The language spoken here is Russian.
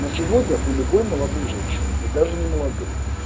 на сегодня у любой молодой женщины и даже не молодой